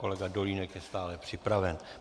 Kolega Dolínek je stále připraven.